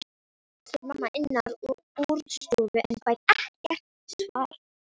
spyr mamma innan úr stofu en fær ekkert svar.